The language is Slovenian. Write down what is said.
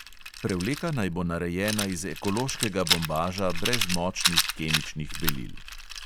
Prevleka naj bo narejena iz ekološkega bombaža brez močnih kemičnih belil.